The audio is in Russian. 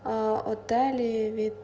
отдали вид